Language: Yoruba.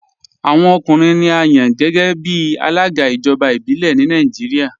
Awọn ọkùnrin ni à yàn géẹ̀bí alága ijọba ibilẹ̀ ni Nàìjíríà.